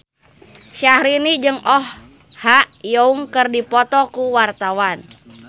Syaharani jeung Oh Ha Young keur dipoto ku wartawan